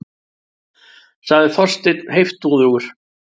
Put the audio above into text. sagði Þorsteinn heiftúðugur.